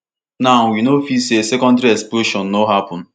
now we no fit say secondary explosion no happun